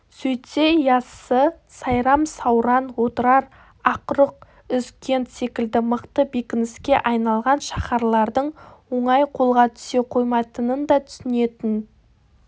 сөйтсе яссы сайрам сауран отырар ақруқ үзгент секілді мықты бекініске айналған шаһарлардың оңай қолға түсе қоймайтынын да түсінетін